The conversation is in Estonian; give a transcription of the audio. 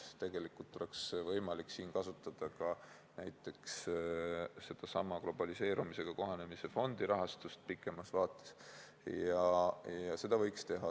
Tegelikult oleks võimalik siin kasutada ka näiteks sedasama globaliseerumisega kohanemise fondi rahastust pikemas vaates ja seda võiks teha.